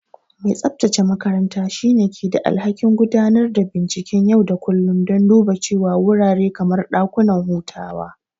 Mai tsabtace makaranta shine ke da alhakin gudanar da binciken yau da kullun don duba cewa wurare kamar dakuna hutawa.